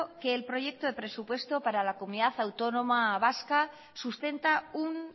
que el proyecto de presupuesto para la comunidad autónoma vasca sustenta un